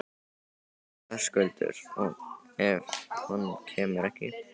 Höskuldur: Og ef að hún kemur ekki?